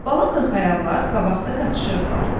Bala qırxayaqlar qabaqda qaçışırdılar.